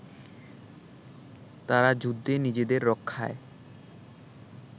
তারা যুদ্ধে নিজেদের রক্ষায়